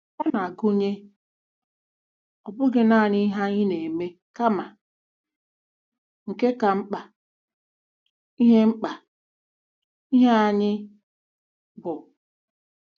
Ọ na-agụnye ọ bụghị nanị ihe anyị na-eme kama, nke ka mkpa, ihe mkpa, ihe anyị bụ.